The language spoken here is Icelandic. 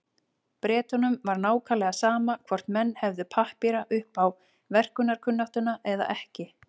Bretunum var nákvæmlega sama hvort menn hefðu pappíra upp á verkkunnáttuna eða ekki.